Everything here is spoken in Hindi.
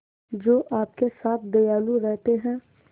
जो आपके साथ दयालु रहते हैं